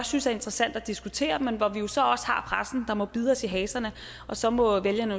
synes er interessant at diskutere men hvor vi jo så også har pressen der må bide os i haserne og så må vælgerne